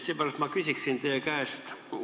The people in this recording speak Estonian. Seepärast ma küsiksin teie käest järgmist.